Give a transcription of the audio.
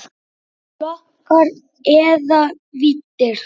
Flokkar eða víddir